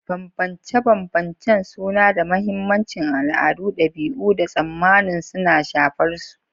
Bambance-bambancen suna da mahimmanci, al'adu, dabi'u, da tsammanin suna shafar su.